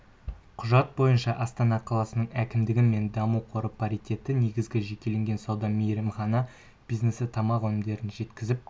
құжат бойынша астана қаласының әкімдігі мен даму қоры паритетті негізде жекелеген сауда мейрамхана бизнесі тамақ-өнімдерін жеткізіп